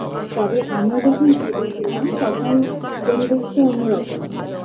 তবে আমরা যখন ছোটো ছিলাম তখন পরিবেশটা অন্যরকম ছিল